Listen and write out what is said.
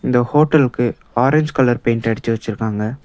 இந்த ஹோட்டலுக்கு orange colour paint அடிச்சி வச்சிருக்காங்க.